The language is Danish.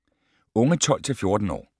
Unge 12-14 år